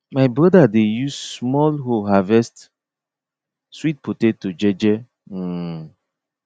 my brother dey use small hoe harvest sweet potato je je um